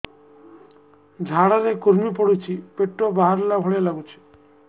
ଝାଡା ରେ କୁର୍ମି ପଡୁଛି ପେଟ ବାହାରିଲା ଭଳିଆ ଲାଗୁଚି